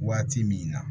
Waati min na